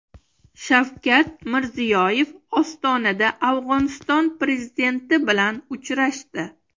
Shavkat Mirziyoyev Ostonada Afg‘oniston prezidenti bilan uchrashdi.